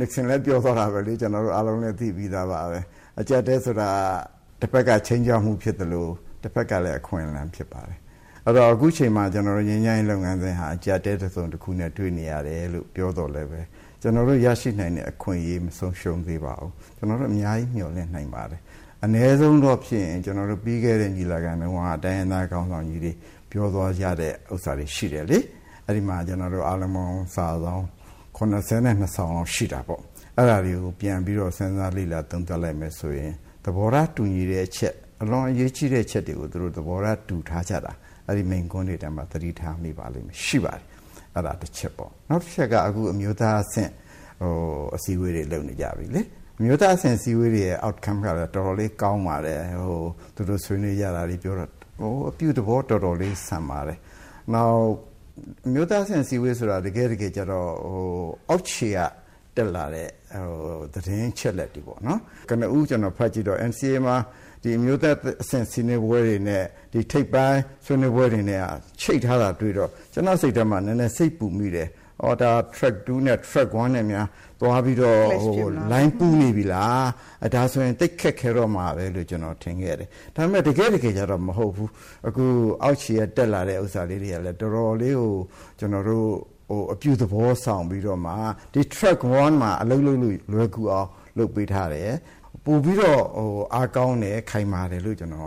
Nixon လည်းပြောသွားတာပဲလေ၊ ကျနော်တို့ အားလုံးလည်းသိပြီးသွားပါပြီ။ အကျပ်အတည်းဆိုတာက တဖက်က ချိန်းခြောက်မှုဖြစ်သလို တဖက်ကလည်း အခွင့်လမ်းဖြစ်ပါတယ်။ အဲဒီတော့ အခုအချိန်မှာ ကျနော်တို့ ငြိမ်းချမ်းရေးလုပ်ငန်းစဉ်က အကျပ်အတည်း တစုံတခုနဲ့ တွေ့နေရတယ်လို့ ပြောသော်လည်း ကျနော်တို့ ရရှိနိုင်တဲ့ အခွင့်အရေး မဆုံးရှုံးသေးပါဘူး။ ကျနော်တို့ အများကြီးမျှော်လင့်နိုင်ပါတယ်။ အနည်းဆုံးတော့၊ ပြီးခဲ့တဲ့ ညီလာခံတုန်းက တိုင်းရင်းသားခေါင်းဆောင်ကြီးတွေ ပြောသွားကြတဲ့ ဟာတွေရှိတယ်လေ၊ အဲဒီမှာ ကျနော်တို့ အားလုံးပေါင်း စာပေါင်း ၇၂ စောင်ရှိတာပေါ့နော်။ အဲဒါတွေကို ပြန်ပြီးတော့ စဉ်းစားသုံးသပ်လိုက်မယ်ဆိုရင် သဘောထားတူညီတဲ့အချက် ၊ အလွန်အရေးကြီးတဲ့အချက်ကို သူတို့က သဘောထား တူထားကြတာ၊ အဲဒီမိန့်ခွန်းတွေထဲမှာ သတိထားမိပါလိမ့်မယ် ရှိပါတယ်။ အဲဒါ တချက်ပေါ့ ၊ နောက်တချက်ကတော့ အမျိုးသားအဆင့် အစည်းအဝေးတွေ လုပ်နေကြပြီလေ၊ အမျိုးသားအဆင့် အစည်းအဝေးတွေရဲ့ Outcome ကတော့ တော်တော်လေးကောင်းပါတယ်။ သူတို့ဆွေးနွေးကြတာတွေပြောတာတွေက အပြုသဘောတော်တော်လေးဆန်ပါတယ်။ နောက် အမျိုးသားအဆင့် အစည်းအဝေးဆိုတာ တကယ်ကျတော့ အောက်ခြေကတက်လာတဲ့ သတင်းအချက်အလက်တွေပေါ့နော်၊ ကနဦး ကျနော်ဖတ်ကြည့်တော့ NCA မှာ ဒီအမျိုးသားအဆင့်ဆွေးနွေးပွဲတွေနဲ့ ဒီထိပ်ပိုင်း ဆွေးနွေးပွဲတွေနဲ့က ချိတ်ထားတာ တွေ့တော့ ကျနော့်စိတ်ထဲမှာ နည်းနည်း စိတ်ပူမိတယ်၊ ဒါက Track 2 နဲ့ Track 1 နဲ့ များ သွားပြီးတော့ လိုင်းပူးနေပြီလား ဒါဆိုရင် သိပ်ခက်တော့မှာပဲ ဆိုပြီးတော့ ကျနေ်ာထင်ခဲ့တယ်။ ဒါပေမယ့် တကယ့် တကယ် ကျတော့ မဟုတ်ဘူး အခုအောက်ခြေက တက်လာတဲ့ဟာတွေကလည်း တော်တော်လေးကို အပြုသဘောဆောင်ပြီးတော့မှ ဒီ Track 1 မှာ အလုပ်လုပ်လို့ လွယ်ကူအောင် လုပ်ပေးထားတယ်။ ပိုပြီးတော့ အားကောင်းတယ် ခိုင်မာတယ်လို့ ကျနော်